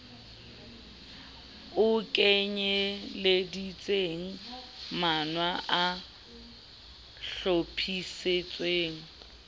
o kenyeleditseng mawa a hlophisitsweng